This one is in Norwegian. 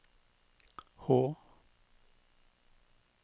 H